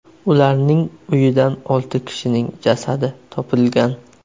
Ularning uyidan olti kishining jasadi topilgan.